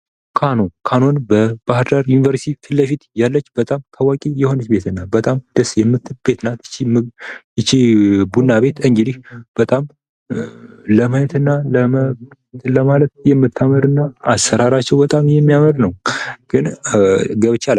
ካኑ ካኑ ከባህዳር ዩኒቨርሲቲ ፊት ለፊት ያለች በጣም ታዋቂ የሆነች ቤት እና በጣም ደስ የሚል ቤት ናት። ይህቺ ቡና ቤት እንግዲህ በጣም ለማየት እና እንትን ለማለት የምታምር እና አሰራራቸው በጣም የሚያምር ነው። ግን ገብቼ አላቅም።